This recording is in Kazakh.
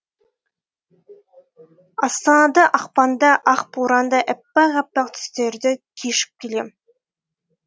астанада ақпанда ақ борандаәппақ әппақ түстерді кешіп келем